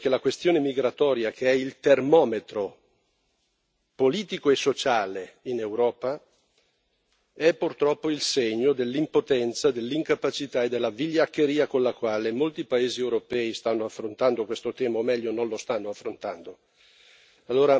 E devo dire che la questione migratoria, che è il termometro politico e sociale in Europa, è purtroppo il segno dell'impotenza, dell'incapacità e della vigliaccheria con la quale molti paesi europei stanno affrontando questo tema, o meglio, non lo stanno affrontando.